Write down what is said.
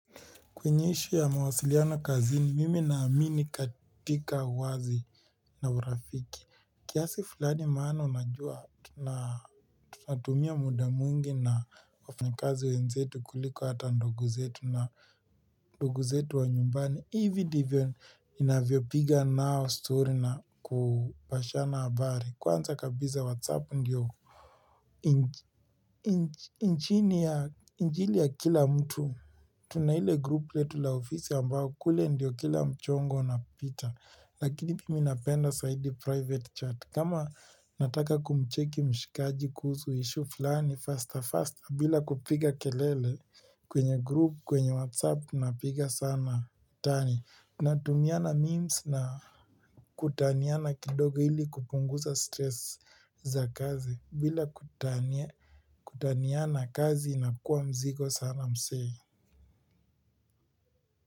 Kuonyesha mawasiliano kazini, mimi na amini katika uwazi na urafiki. Kiasi fulani maana unajua, tunatumia muda mwingi na wafanyikazi wenzetu kuliko hata ndugu zetu na ndugu zetu wa nyumbani. Hivi divyo inavyo piga nao story na kupashana habari. Kwanza kabisa whatsapp ndiyo. Injili ya kila mtu Tuna ile group letu la ofisi ambao kule ndio kila mchongo unapita Lakini mimi napenda zaidi private chat kama nataka kumcheki mshikaji kuhusu issue flani Fasta fasta bila kupiga kelele kwenye group kwenye whatsapp Tuna piga sana utani tunatumiana memes na kutaniana kidogo ili kupunguza stress za kazi bila kutaniana kazi inakua mzigo sana msee.